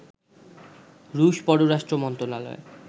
রুশ পররাষ্ট্র মন্ত্রণালয়